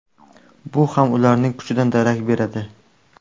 Bu ham ularning kuchidan darak beradi.